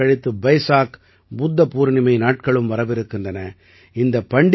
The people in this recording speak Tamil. சில நாட்கள் கழித்து பைசாக் புத்த பூர்ணிமை நாட்களும் வரவிருக்கின்றன